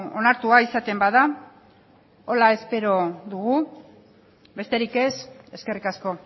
onartua izaten bada horrela espero dugu besterik ez eskerrik asko